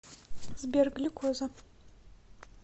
сбер глюкоза